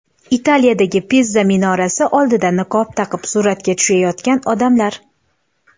Italiyadagi Piza minorasi oldida niqob taqib suratga tushayotgan odamlar.